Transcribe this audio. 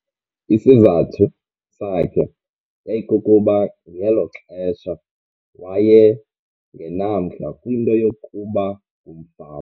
Isizathu sakhe yayikukuba ngelo xesha waye ngenamdla kwinto yokuba ngumfama.